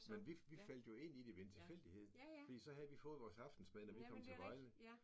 Men vi vi faldt jo ind i det ved en tilfældighed fordi så havde vi jo fået vores aftensmad når vi kom til Vejle